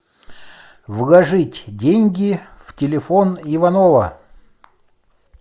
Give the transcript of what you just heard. вложить деньги в телефон иванова